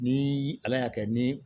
Ni ala y'a kɛ ni